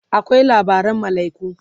akwai labaran malaiku